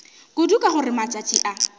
kudu ka gore matšatši a